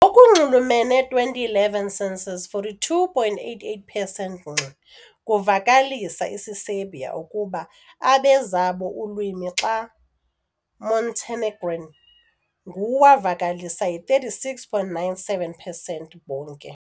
Ukunxulumene 2011 census, 42.88 percent ngxi kuvakalisa isiserbia ukuba abe zabo ulwimi, xa Montenegrin nguwavakalisa yi-36.97 percent bonke.